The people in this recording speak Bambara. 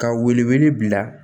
Ka wele wele bila